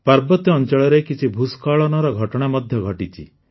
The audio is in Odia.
ପାର୍ବତ୍ୟ ଅଞ୍ଚଳରେ କିଛି ଭୂସ୍ଖଳନର ଘଟଣା ମଧ୍ୟ ଘଟିଛି